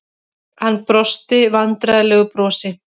Hann brosti vandræðalegu brosi.